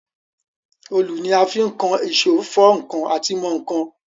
Òlù ni a fi ń kan èsó, fọ́ ǹkan àti mọ ǹkan.